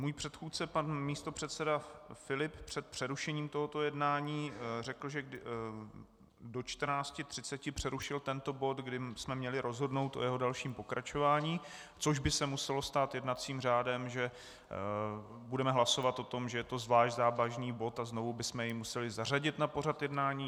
Můj předchůdce pan místopředseda Filip před přerušením tohoto jednání řekl, že do 14.30 přerušil tento bod, kdy jsme měli rozhodnout o jeho dalším pokračování, což by se muselo stát jednacím řádem, že budeme hlasovat o tom, že je to zvlášť závažný bod, a znovu bychom jej museli zařadit na pořad jednání.